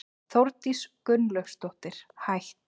Þórdís Gunnlaugsdóttir, hætt